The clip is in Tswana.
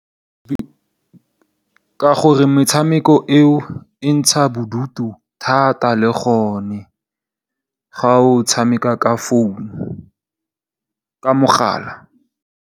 Ka gore metshameko eo e ntsha bodutu thata le gone ga o tshameka ka founu, ka mogala.